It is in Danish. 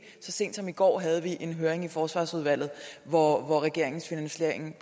så sent som i går havde vi en høring i forsvarsudvalget hvor regeringens finansiering